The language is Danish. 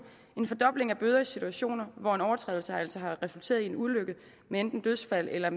en fordobling af bøder i situationer hvor en overtrædelse altså har resulteret i en ulykke med enten dødsfald eller